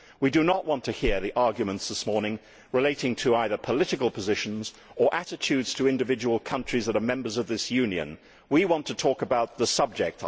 We do not want to hear the arguments this morning relating to either political positions or attitudes to individual countries that are members of this Union. We want to talk about the subject.